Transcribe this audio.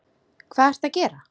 Hvað ertu að gera!